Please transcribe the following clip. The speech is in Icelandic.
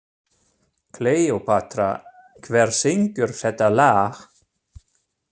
Kleópatra, hver syngur þetta lag?